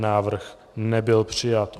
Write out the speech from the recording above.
Návrh nebyl přijat.